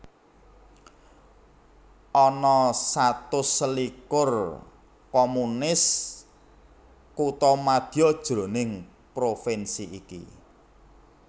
Ana satus selikur communes kuthamadya jroning provinsi iki